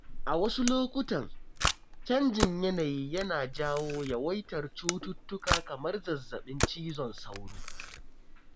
A wasu lokutan, canjin yanayi yana jawo yawaitar cututtuka kamar zazzaɓin cizon sauro.